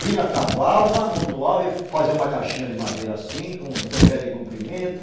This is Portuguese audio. Vinha, cavava, amontava e fazia uma caixinha de madeira assim, com três metros de comprimento.